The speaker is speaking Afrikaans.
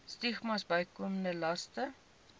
stigmas bykomende laste